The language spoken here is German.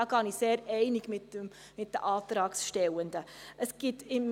Diesbezüglich bin ich mit den Antragstellenden sehr einig.